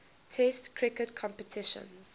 test cricket competitions